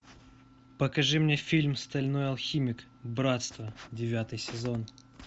покажи мне фильм стальной алхимик братство девятый сезон